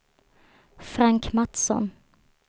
Frank Mattsson